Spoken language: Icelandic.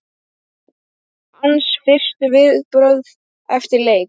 Hans fyrstu viðbrögð eftir leik?